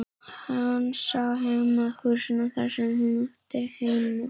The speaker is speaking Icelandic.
Hann sá heim að húsinu þar sem hún átti heima.